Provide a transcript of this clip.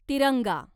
तिरंगा